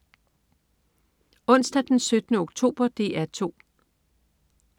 Onsdag den 17. oktober - DR 2: